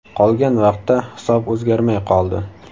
Qolgan vaqtda hisob o‘zgarmay qoldi.